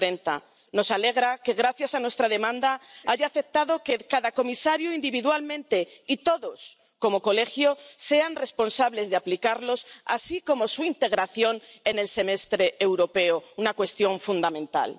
2030. Nos alegra que, gracias a nuestra demanda, haya aceptado que cada comisario individualmente, y todos como Colegio, sean responsables de aplicarlos, así como su integración en el Semestre Europeo, una cuestión fundamental.